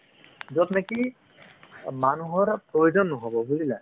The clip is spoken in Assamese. য'ত নেকি অ মানুহৰ প্ৰয়োজন নহ'ব বুজিলা